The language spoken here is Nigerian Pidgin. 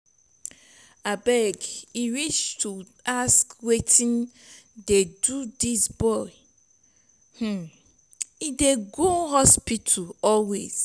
abeg e reach to ask wetin dey do dis boy? um e dey go hospital always.